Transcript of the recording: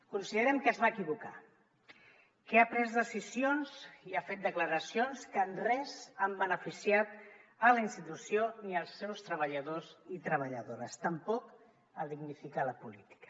considerem que es va equivocar que ha pres decisions i ha fet declaracions que en res han beneficiat la institució ni els seus treballadors i treballadores tampoc a dignificar la política